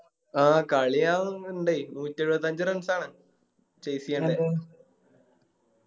ആ കളി ക ഇണ്ടേയ് നൂറ്റെഴുപത്തഞ്ച് Runs ആണ് Chase